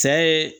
Cɛ ye